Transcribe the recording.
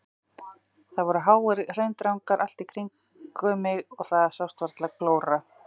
Það voru háir hraundrangar allt í kringum mig og það sást varla glóra.